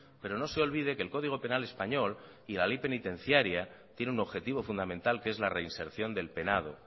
pero no se olvide que el código penal español y la ley penitenciaria tiene un objetivo fundamental que es la reinserción del penado